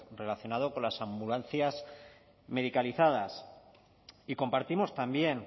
relacionado con las ambulancias medicalizadas y compartimos también